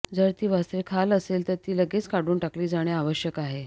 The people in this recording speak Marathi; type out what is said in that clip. जर ती वासरे खाल असेल तर ती लगेच काढून टाकली जाणे आवश्यक आहे